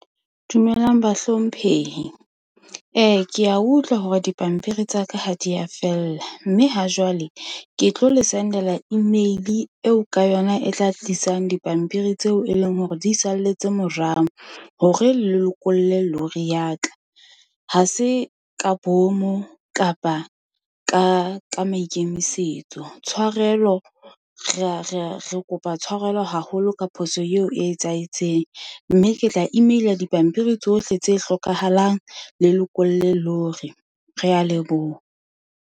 Dumelang bahlomphehi. Ke a utlwa hore dipampiri tsa ka ha di a fella. Mme ha jwale ke tlo le sendela email-e eo ka yona e tla tlisang dipampiri tseo e leng hore di salletse morao hore le lokolle lorry ya ka. Ha se ka bomo, kapa ka maikemisetso. Tshwarelo re kopa tshwarelo haholo ka phoso eo e etsahetseng. Mme ke tla email-a dipampiri tsohle tse hlokahalang le lokolle lorry. Re a leboha.